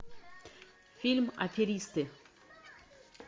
фильм аферисты